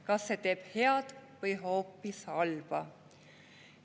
Kas see teeb head või hoopis halba?